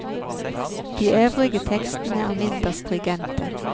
De øvrige tekstene er mindre stringente.